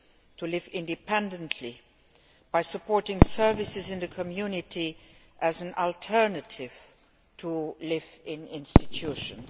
to live independently by supporting services in the community as an alternative to living in institutions.